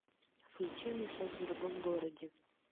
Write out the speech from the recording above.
включи мне секс в другом городе